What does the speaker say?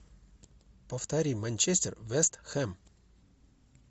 повтори манчестер вест хэм